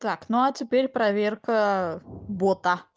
так ну а теперь проверка бота